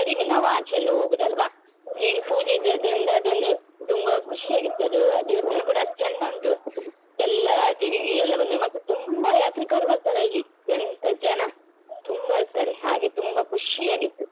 ಕಡಿಮೆ ನಾವು ಆಚೆ ಎಲ್ಲ ಹೋದದಲ್ವ ಹೀಗೆ ಪೂಜೆ ಇದ್ದದ್ರಿಂದ ಅದೊಂದು ತುಂಬಾ ಖುಷಿಯಾಗಿತ್ತು ಅದು ಆ ದೇವಸ್ಥಾನ ಕೂಡ ಅಷ್ಟು ಚಂದ ಉಂಟು ಎಲ್ಲ ತೆರಿಗೆ ಎಲ್ಲ ಬಂದು ಮತ್ತೆ ತುಂಬಾ ಯಾತ್ರಿಕರು ಬರ್ತಾರೆ ಅಲ್ಲಿ ಎಂತ ಜನ ತುಂಬಾ ಇರ್ತಾರೆ ಹಾಗೆ ತುಂಬಾ ಖುಷಿಯಾಗಿತ್ತು.